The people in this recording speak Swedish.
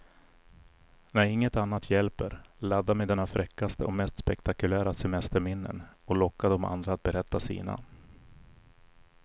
När inget annat hjälper, ladda med dina fräckaste och mest spektakulära semesterminnen och locka de andra att berätta sina.